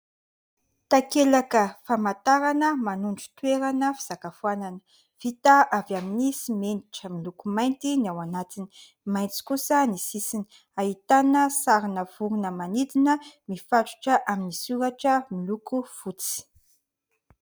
Takelaka famantarana manondro toerana fisakafoanana. Vita avy amin'ny simenitra miloko mainty ny ao anatiny. Maitso kosa ny sisiny, ahitana sarina vorona manidina mifatotra amin'ny soratra miloko fotsy.